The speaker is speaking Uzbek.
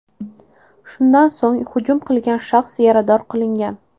Shundan so‘ng hujum qilgan shaxs yarador qilingan.